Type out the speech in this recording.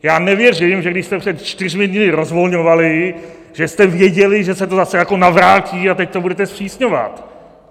Já nevěřím, že když jste před čtyřmi dny rozvolňovali, že jste věděli, že se to zase jako navrátí a teď to budete zpřísňovat.